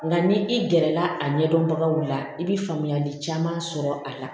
Nka ni i gɛrɛla a ɲɛdɔnbagaw la i bɛ faamuyali caman sɔrɔ a la